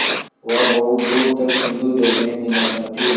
वह बहुत दूर तक सिंधुजल में निमग्न थी